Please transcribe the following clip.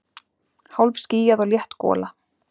Hálfskýjað og létt gola